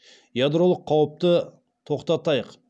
ядролық қауіпті тоқтатайық